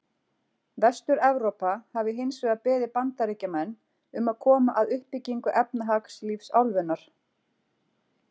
Vestur-Evrópa hafi hins vegar beðið Bandaríkjamenn um að koma að uppbyggingu efnahagslífs álfunnar.